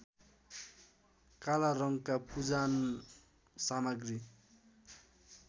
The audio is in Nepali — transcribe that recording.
काला रङका पूजानसामग्री